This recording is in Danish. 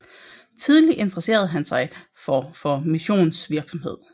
Tidlig interesserede han sig for for missionsvirksomhed